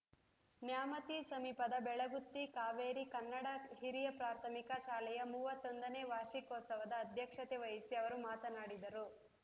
ನ್ಯಾಮತಿ ಸಮೀಪದ ಬೆಳಗುತ್ತಿ ಕಾವೇರಿ ಕನ್ನಡ ಹಿರಿಯ ಪ್ರಾಥಮಿಕ ಶಾಲೆಯ ಮೂವತ್ತೊಂದನೇ ವಾರ್ಷಿಕೋತ್ಸವದ ಅಧ್ಯಕ್ಷತೆ ವಹಿಸಿ ಅವರು ಮಾತನಾಡಿದರು